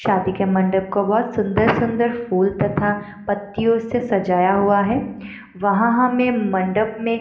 शादी के मंडप को बहोत सुंदर-सुंदर फूल तथा पत्तियों से सजाया हुआ हैं वहाँ हमें मंडप में --